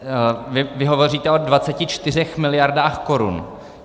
Vy hovoříte o 24 miliardách korun.